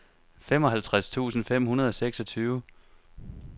femoghalvtreds tusind fem hundrede og seksogtyve